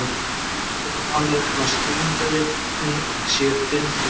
Almennt er talað um að skilningarvitin séu fimm talsins.